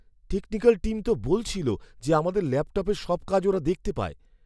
Technical team তো বলছিল যে আমাদের ল্যাপটপের সব কাজ ওরা দেখতে পায়।